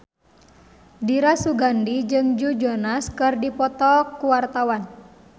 Dira Sugandi jeung Joe Jonas keur dipoto ku wartawan